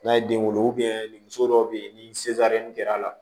N'a ye den wolo muso dɔw bɛ yen ni kɛra a la